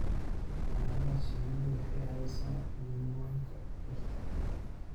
Xannaanada shinnidu waxay caawisaa manka dhirta.